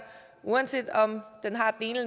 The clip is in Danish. uanset om den har den ene